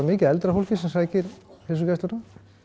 mikið af eldra fólki sem sækir heilsugæsluna